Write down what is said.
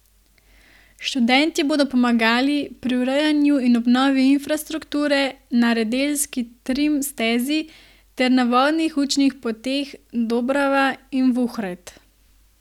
Študentje bodo pomagali pri urejanju in obnovi infrastrukture na radeljski trim stezi ter na vodnih učnih poteh Dobrava in Vuhred.